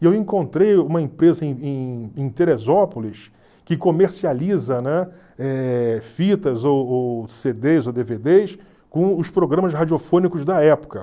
E eu encontrei uma empresa em em em Teresópolis que comercializa, né, eh fitas ou cê dês ou dê vê dês com os programas radiofônicos da época.